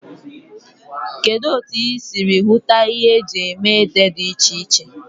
Kedu otu ị siri hụta ihe eji eme ede dị iche iche?